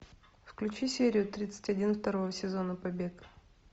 включи серию тридцать один второго сезона побег